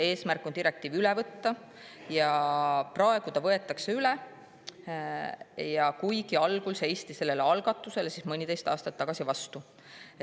Eesmärk on direktiiv üle võtta ja praegu ta võetaksegi üle, kuigi algul, mõniteist aastat tagasi seisti sellele algatusele vastu.